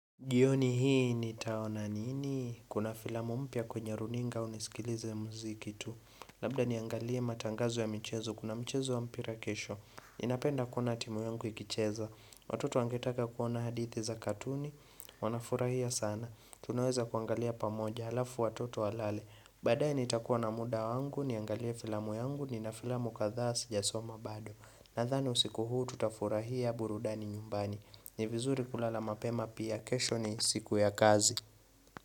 Jioni hii nitaona nini? Kuna filamu mpya kwenye runinga au nisikilize muziki tu. Labda niangalie matangazo ya mchezo. Kuna mchezo wa mpira kesho. Ninapenda kuona timu yangu ikicheza. Watoto wangetaka kuona hadithi za katuni. Wanafurahia sana. Tunaweza kuangalia pamoja. Halafu watoto walale. Badae nitakuwa na muda wangu. Niangalie filamu yangu. Nina filamu kadhaa sijasoma bado. Nadhani usiku huu tutafurahia burudani nyumbani. Ni vizuri kulala mapema pia kesho ni siku ya kazi.